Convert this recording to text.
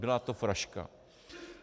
Byla to fraška.